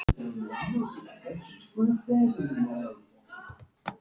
Það er fátt við þessu að segja.